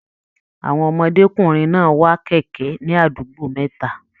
Àwọn ọmọdékunrin náà wà kẹkẹ ní àdúgbò mẹta.